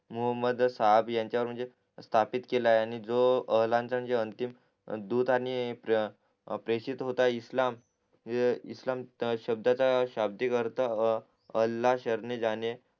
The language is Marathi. मोहम्द साहब याच्या वर म्हणजे स्थापित केलाय आणि जो अंतिम ध्रुत आणि प्रेषित होत आहे इस्लाम इस्लाम शब्दांचा शब्दिक अर्थ हा अल्ला जाणे